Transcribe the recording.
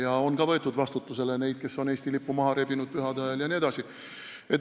Ja on ka võetud vastutusele neid, kes on Eesti lipu pühade ajal maha rebinud jne.